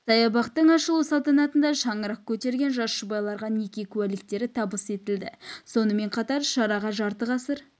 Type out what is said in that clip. саябақтың ашылу салтанатында шаңырақ көтерген жас жұбайларға неке куәліктері табыс етілді сонымен қатар шараға жарты ғасыр